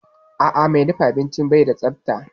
A'a, mai dafa abincin bai da tsafta